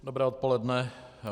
Dobré odpoledne.